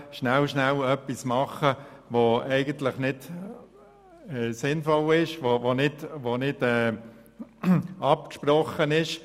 Es wird schnell, schnell etwas gemacht – etwas, das eigentlich nicht sinnvoll ist und nicht abgesprochen wurde.